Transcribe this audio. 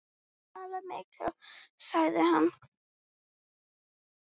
Hann talaði mikið sagði hann.